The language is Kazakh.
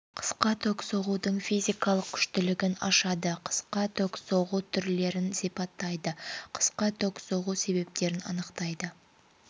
қысқа ток соғудың физикалық күштілігін ашады қысқа ток соғу түрлерін сипаттайды қысқа ток соғу себептерін анықтайды